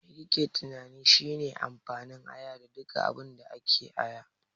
Me kike tunani shine amfanin aya da duka abinda ake da aya?